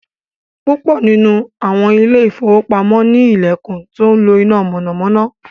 púpọ nínú awọn Ilé ìfowópamọ́ ni ilẹkùn tó ńlo iná mọ̀nàmọ́ná